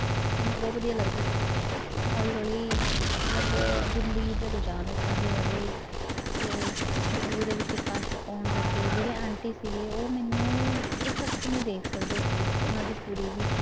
ਮੈਨੂੰ ਬਹੁ ਵਧੀਆ ਲੱਗਦਾ ਸੀਗਾ painting ਕਰਨਾ ਹੌਲੀ ਹੌਲੀ ਮਤਲਬ ਜ਼ਿੰਦਗੀ ਦੇ ਰੁਜ਼ਾਨ ਏਦਾਂ ਦੇ ਵਧੇ ਕਿ ਜ਼ਿੰਦਗੀ ਦੇ ਵਿੱਚ ਕਸ਼ਟ ਆਉਣ ਲੱਗੇ, ਜਿਹੜੇ ਆਂਟੀ ਸੀਗੇ ਉਹ ਮੈਨੂੰ ਇੱਕ ਅੱਖ ਨੀ ਦੇਖ ਸਕਦੇ ਸੀਗੇ, ਉਹਨਾਂ ਦੀ ਕੁੜੀ ਵੀ